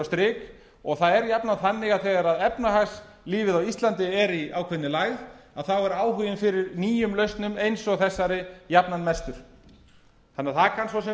strik og það er jafnan þannig að þegar efnahagslífið á íslandi er í ákveðinni lægð þá er áhuginn fyrir nýjum lausnum eins og þessari jafnan mestur það kann svo sem